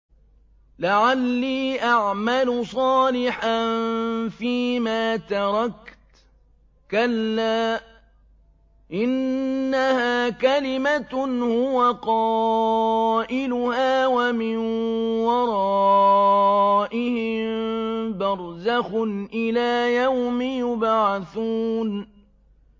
لَعَلِّي أَعْمَلُ صَالِحًا فِيمَا تَرَكْتُ ۚ كَلَّا ۚ إِنَّهَا كَلِمَةٌ هُوَ قَائِلُهَا ۖ وَمِن وَرَائِهِم بَرْزَخٌ إِلَىٰ يَوْمِ يُبْعَثُونَ